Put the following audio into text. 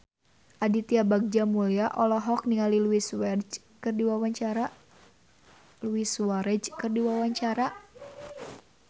Aditya Bagja Mulyana olohok ningali Luis Suarez keur diwawancara